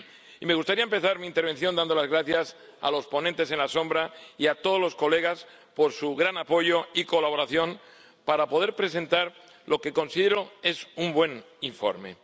Y me gustaría empezar mi intervención dando las gracias a los ponentes alternativos y a todos los colegas, por su gran apoyo y colaboración para poder presentar lo que, considero, es un buen informe.